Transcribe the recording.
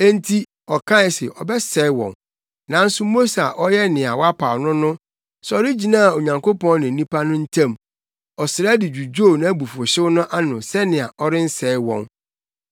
Enti ɔkae se ɔbɛsɛe wɔn, nanso Mose a ɔyɛ nea wapaw no no, sɔre gyinaa Onyankopɔn ne nnipa no ntam; ɔsrɛ de dwudwoo nʼabufuwhyew no ano sɛnea ɔrensɛe wɔn.